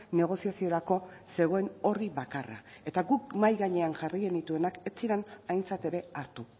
negoziaziorako zegoen orri bakarra eta guk mahai gainean jarri genituenak ez ziren aintzat ere hartu